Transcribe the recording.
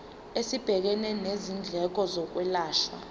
esibhekene nezindleko zokwelashwa